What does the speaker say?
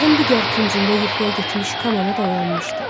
Otağın digər küncündə yuxuya getmiş Kamana da oyanmışdı.